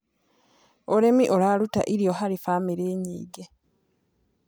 Ũrĩmĩ ũrarũta ĩrĩo harĩ bamĩrĩ nyĩngĩ